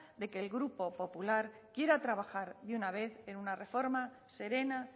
de que el grupo popular quiera trabajar de una vez en una reforma serena